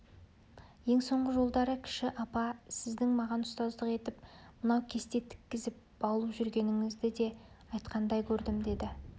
ең соңғы жолдары кіші апа сіздің маған ұстаздық етіп мынау кесте тіккізіп баулып жүргеніңізді де айтқандай көрдім деді